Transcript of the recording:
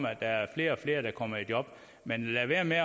at der er flere og flere der kommer i job men lad være med at